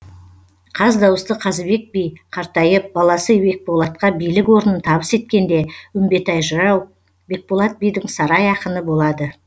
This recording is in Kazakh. қаздауысты қазыбек би қартайып баласы бекболатқа билік орнын табыс еткенде үмбетей жырау бекболат бидің сарай ақыны болады